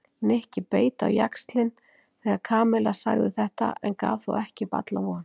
Nikki beit á jaxlinn þegar Kamilla sagði þetta en gaf þó ekki upp alla von.